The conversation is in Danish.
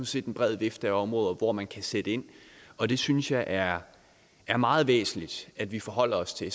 set en bred vifte af områder hvor man kan sætte ind og det synes jeg er er meget væsentligt at vi forholder os til